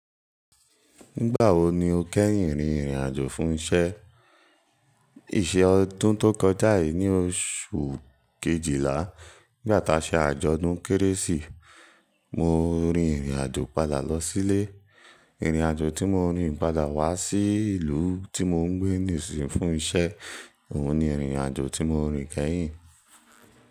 Nígbà wo ni o kẹ́yìn rìnrìn àjò fún ìṣe? Ìṣe ọdún tó kọjá yìí ní oṣù kejìlá, nígbà tí a ṣe àjọ̀dún Kérésì. Mo rìnrìn àjò padà lọ sílé. Ìrìn àjò tí mo rìn padà wá sí ìlú tí mò ń gbé ni isin fún ìṣe. Òhun ni ìrìn àjò tí mo rìn kẹ́yìn.